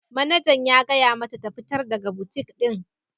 Manejan ya gaya mata ta fitar daga butik din!